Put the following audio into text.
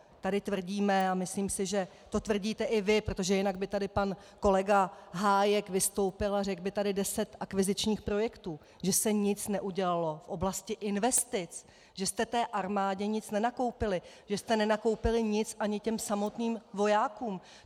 Tady tvrdíme - a myslím si, že to tvrdíte i vy, protože jinak by tady pan kolega Hájek vystoupil a řekl by tady deset akvizičních projektů - že se nic neudělalo v oblasti investic, že jste té armádě nic nenakoupili, že jste nenakoupili nic ani těm samotným vojákům.